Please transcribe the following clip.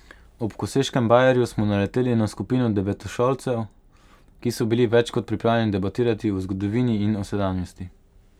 Ob koseškem bajerju smo naleteli na skupino devetošolcev, ki so bili več kot pripravljeni debatirati o zgodovini in o sedanjosti.